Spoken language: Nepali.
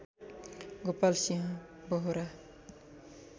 गोपाल सिंह बोहोरा